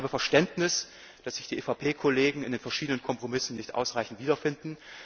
Ich habe Verständnis, dass sich die EVP ED Kollegen in den verschiedenen Kompromissen nicht ausreichend wiederfinden.